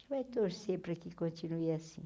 vai torcer para que continue assim.